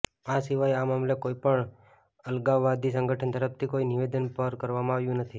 આ સિવાય આ મામલે કોઈ પણ અલગાવવાદી સંગઠન તરફથી કોઈ નિવેદન પર કરવામાં આવ્યું નથી